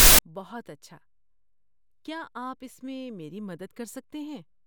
بہت اچھا! کیا آپ اس میں میری مدد کر سکتے ہیں؟